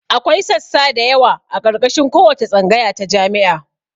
Akwai sassa dayawa a ƙarƙashin kowace tsangaya ta jami'a